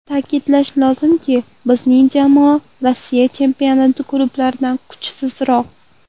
Ta’kidlash lozimki, bizning jamoa Rossiya chempionati klublaridan kuchsizroq.